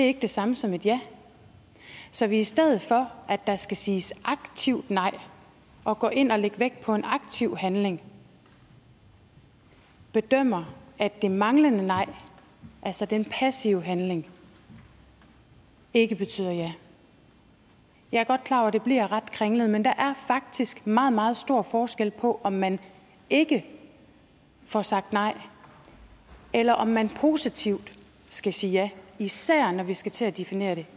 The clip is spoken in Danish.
er det samme som et ja så vi stedet for at der skal siges aktivt nej og at gå ind og lægge vægt på en aktiv handling bedømmer at det manglende nej altså den passive handling ikke betyder ja jeg er godt klar over at det bliver ret kringlet men der er faktisk meget meget stor forskel på om man ikke får sagt nej eller om man positivt skal sige ja især når vi skal til at definere det